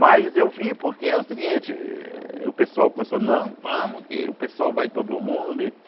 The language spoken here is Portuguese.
Mas eu vim porque é o seguinte, eh o pessoal começou, não, vamos que o pessoal vai todo mundo. E